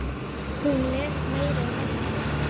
Hún les meira en allir.